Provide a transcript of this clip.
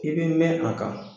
I be mɛn a kan